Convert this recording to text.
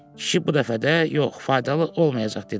Kişi bu dəfə də yox, faydalı olmayacaq dedi.